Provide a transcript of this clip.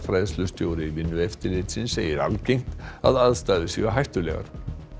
fræðslustjóri Vinnueftirlitsins segir algengt að aðstæður séu hættulegar